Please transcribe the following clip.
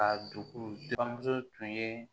Ka dugu buramuso tun ye